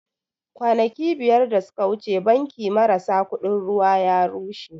Kwanaki biyar da suka wuce banki marasa kuɗin ruwa ya rushe